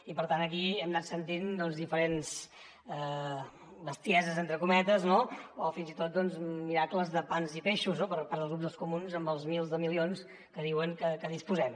i per tant aquí hem anat sentint diferents bestieses entre cometes o fins i tot miracles de pans i peixos per part del grup dels comuns amb els milers de milions que diuen que disposem